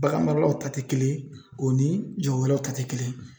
Bagan maralaw ta te kelen o ni jagokɛlaw ta te kelen ye